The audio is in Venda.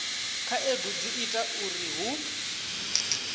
khaedu dzi ita uri hu